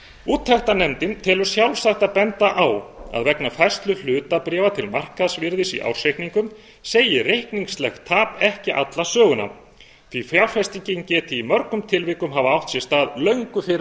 með leyfi forseta úttektarnefndin telur sjálfsagt að benda á að vegna færslu hlutabréfa til markaðsvirðis í ársreikningum segir reikningslegt tap ekki alla söguna því fjárfestingin geti í mörgum tilvikum hafa átt sér stað löngu fyrir